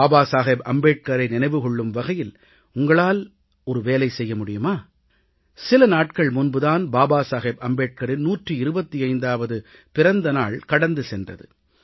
பாபா சாஹேப் அம்பேத்கரை நினைவு கொள்ளும் வகையில் உங்களால் ஒரு வேலை செய்ய முடியுமா சில நாட்கள் முன்பு தான் பாபா சாஹேப் அம்பேட்கரின் 125வது பிறந்த நாள் கடந்து சென்றது